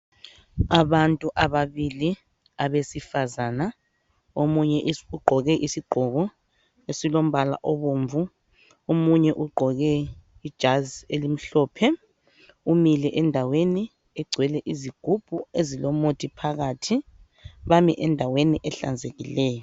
Abantu ababili abasifazana. Omunye ugqoke isigqoko esilombala obomvu, omunye ugqoke ijazi elimhlophe, umile endaweni egcwele zigubhu ezilomuthi phakathi. Bami endaweni ehlanzekileyo.